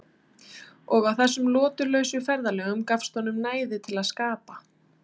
Og á þessum lotulausu ferðalögum gefst honum næði til að skapa.